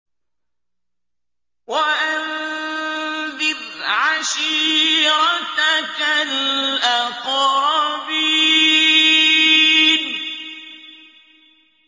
وَأَنذِرْ عَشِيرَتَكَ الْأَقْرَبِينَ